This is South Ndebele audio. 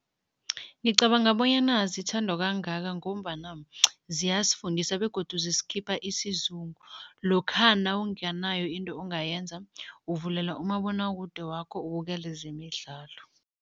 Ngicabanga bonyana zithandwa kangaka ngombana ziyasifundisa begodu zisikhipa isizungu. Lokha nawunganayo into ongayenza, uvulela umabonwakude wakho ubukele zemidlalo.